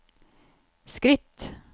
skritt